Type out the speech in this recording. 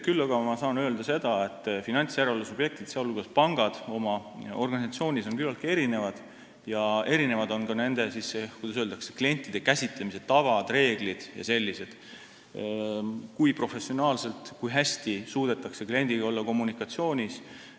Küll aga ma saan öelda seda, et finantsjärelevalve subjektid, sh pangad, on oma organisatsioonilt küllaltki erinevad ja erinevad on ka nende, kuidas öelda, klientide käsitlemise tavad, reeglid jms, st kui professionaalselt ja kui hästi suudetakse kliendiga olla kommunikatsioonis.